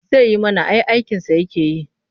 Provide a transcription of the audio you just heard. Zai yi mana ai aikinsa yake yi.